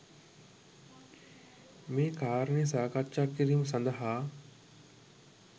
මේ කාරණය සාකච්ඡා කිරීම සඳහා